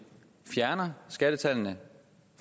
fjerner skattetallene